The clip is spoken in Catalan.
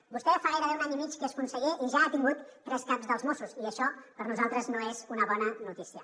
vostè fa gairebé un any i mig que és conseller i ja ha tingut tres caps dels mossos i això per a nosaltres no és una bona notícia